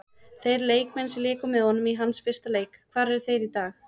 Þeir leikmenn sem léku með honum í hans fyrsta leik, hvar eru þeir í dag?